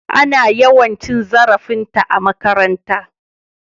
Ana yawan cin zarafinta a makaranta.